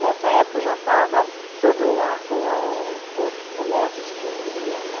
Nessa época, já estava, todo ato autor que começa diz que copia, né.